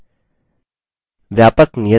व्यापक नियत कार्य